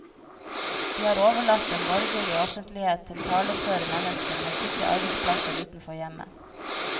De har overlatt den borgerlige offentlighet til taleføre mennesker med sikre arbeidsplasser utenfor hjemmet.